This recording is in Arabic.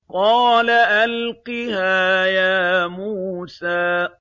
قَالَ أَلْقِهَا يَا مُوسَىٰ